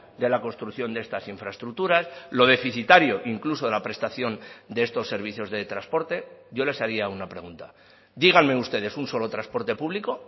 de la construcción de estas infraestructuras lo deficitario incluso de la prestación de estos servicios de transporte yo les haría una pregunta díganme ustedes un solo transporte público